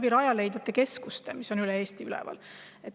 Ka Rajaleidja keskuste kaudu, mis üle Eesti.